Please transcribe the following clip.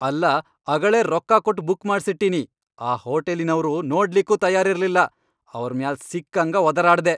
ಅಲ್ಲಾ ನಾ ಅಗಳೇ ರೊಕ್ಕಾ ಕೊಟ್ ಬುಕ್ ಮಾಡ್ಸಿಟ್ಟಿನಿ ಆ ಹೋಟಲಿನವ್ರು ನೋಡ್ಲಿಕ್ಕೂ ತಯಾರಿರ್ಲಿಲ್ಲ ಅವರ್ ಮ್ಯಾಲ್ ಸಿಕ್ಕಂಗ ವದರಾಡ್ದೆ.